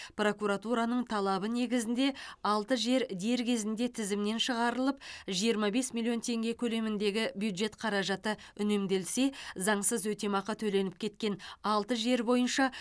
прокуратураның талабы негізінде алты жер дер кезінде тізімнен шығарылып жиырма бес миллион теңге көлеміндегі бюджет қаражаты үнемделсе заңсыз өтемақы төленіп кеткен алты жер бойынша